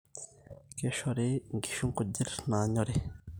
keishori inkishu nkujit naanyooriii